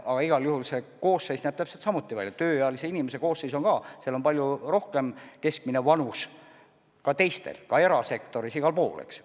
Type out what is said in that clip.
Ja igal juhul tööealise elanikkonna koosseis on ka selline, et seal on palju kõrgem keskmine vanus kui suurtes linnades, ka erasektoris – igal pool, eks ju.